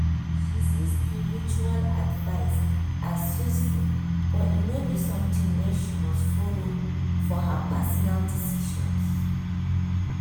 she see spiritual advice as useful but e no be something wey she must follow for her personal decisions.